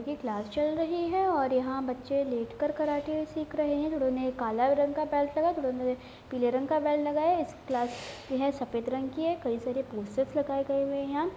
यह क्लास चल रहे है और यहा बच्चे लेट कर कराटे सिख रहे है थोड़ों ने कला रंग का बेल्ट लगा है थोड़ों ने पीले रंग का बेल्ट लगाया है इस क्लास यह सफेद रंग की है। कई सारे पोस्टर्स लगाए हुए है यहाँ --